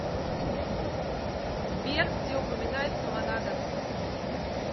сбер где упоминается монада